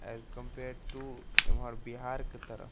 अस compare to इम्हर बिहार के तरह --